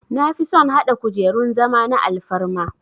Nafison hada kujerun zama na alfarma